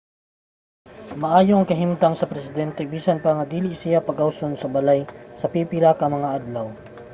maayo ang kahimtang sa presidente bisan pa nga dili siya pagawason sa balay sa pipila ka mga adlaw